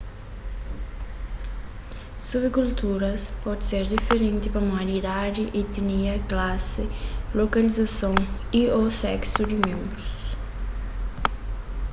subkulturas pode ser diferenti pamodi idadi etinia klasi lokalizason y/ô seksu di ménbrus